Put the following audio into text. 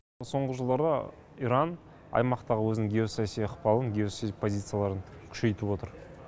соңғы жылдары иран аймақтағы өзінің геосаяси ықпалын геосаяси позицияларын күшейтіп отыр